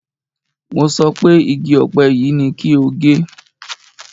Mo sọ pé igi ọ̀pẹ yìí ni kí o gé!